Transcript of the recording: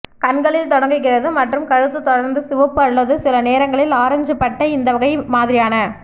கண்களில் தொடங்குகிறது மற்றும் கழுத்து தொடர்ந்து சிவப்பு அல்லது சில நேரங்களில் ஆரஞ்சு பட்டை இந்த வகை வகைமாதிரியான